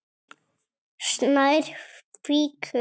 Snær fýkur.